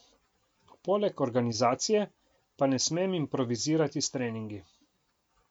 Poleg organizacije pa ne smem improvizirati s treningi.